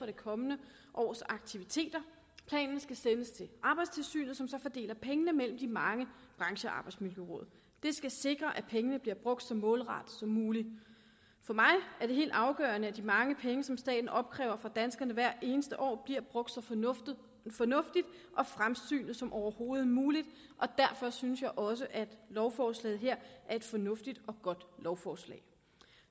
det kommende års aktiviteter planen skal sendes til arbejdstilsynet som så fordeler pengene mellem de mange branchearbejdsmiljøråd det skal sikre at pengene bliver brugt så målrettet som muligt for mig er det helt afgørende at de mange penge som staten opkræver fra danskerne hvert eneste år bliver brugt så fornuftigt og fremsynet som overhovedet muligt og derfor synes jeg også at lovforslaget her er et fornuftigt og godt lovforslag